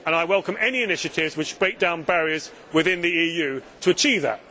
I welcome any initiatives which break down barriers within the EU to achieve that.